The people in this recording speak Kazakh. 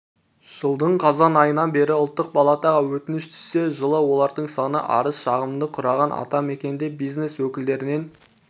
жылдың қазан айынан бері ұлттық палатаға өтініш түссе жылы олардың саны арыз-шағымды құраған атамекенде бизнес өкілдерінен